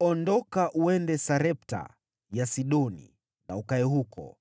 “Ondoka, uende Sarepta ya Sidoni na ukae huko.